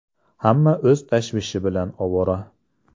Hamma o‘z tashvishi bilan ovora.